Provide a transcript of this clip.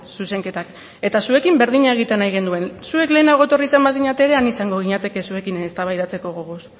zuzenketak eta zuekin berdina egitea nahi genuen zuek lehenago etorri izan bazinete ere han izango ginateke zuekin eztabaidatzeko gogoz